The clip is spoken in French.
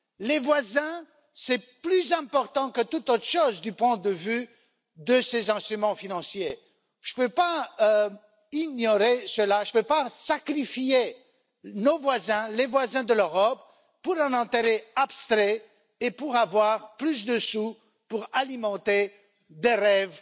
Les voisins, c'est plus important que tout du point de vue de ces instruments financiers, je ne peux pas ignorer cela, je ne peux pas sacrifier nos voisins, les voisins de l'Europe pour un intérêt abstrait et pour avoir plus d'argent pour alimenter des rêves